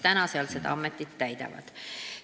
Praegu nad veel seda kohta täidavad.